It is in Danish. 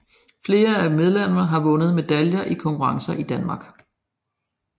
Flere af medlemmerne har vundet medaljer i konkurrencer i Danmark